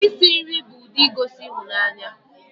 Isi nri bụ ụdị igosi ịhụnanya